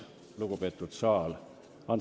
Lugupeetud saal!